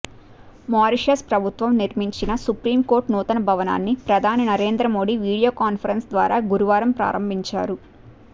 Mauritius ప్రభుత్వం నిర్మించిన supreme court నూతన భవనాన్ని ప్రధాని నరేంద్ర మోదీ వీడియో కాన్ఫరెన్స్ ద్వారా గురువారం ప్రారంభించారు